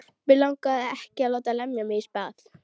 Mig langar ekki að láta lemja mig í spað.